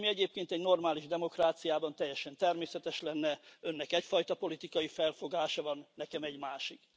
Ami egyébként egy normális demokráciában teljesen természetes lenne Önnek egyfajta politikai felfogása van, nekem egy másik.